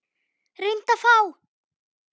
Reyndu að fá